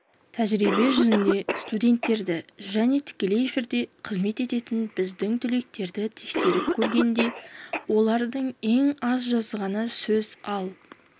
тәжірибе жүзінде студенттерді және тікелей эфирде қызмет ететін біздің түлектерді тексеріп көргенде олардың ең аз жазғаны сөз ал